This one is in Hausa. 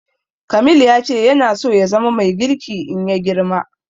Kamil ya ce yana so ya zama mai girki in ya girma